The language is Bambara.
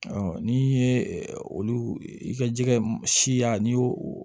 n'i ye olu i ka jɛgɛ siya n'i y'o